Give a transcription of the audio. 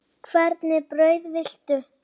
Hvernig brauð viltu?